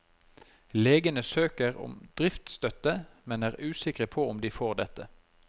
Legene søker om driftsstøtte, men er usikre på om de får dette.